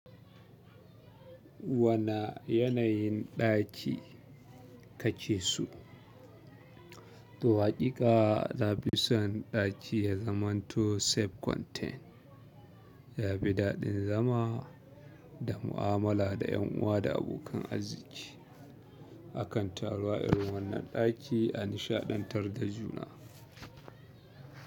Wana yanayin ɗaki kakeso? To haƙiƙa, nafison ɗaki ya zamanto safe contain, ya fi daɗin zama da mu'amala da 'yan uwa da abokan arziki, akan taruwa irin wannan ɗaki a nishaɗantar da juna.